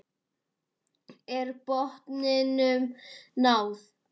Er botninum náð?